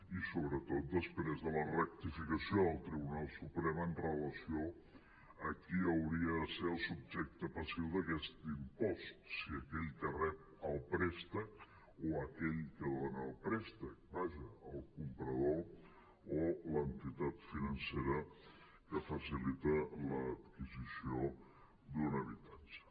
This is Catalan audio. i sobretot després de la rectificació del tribunal suprem amb relació a qui hauria de ser el subjecte passiu d’aquest impost si aquell que rep el préstec o aquell que dona el préstec vaja el comprador o l’entitat financera que faci·lita l’adquisició d’un habitatge